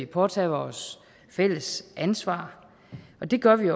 påtage os fælles ansvar og det gør vi